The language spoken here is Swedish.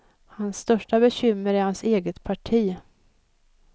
Hans största bekymmer är hans eget parti.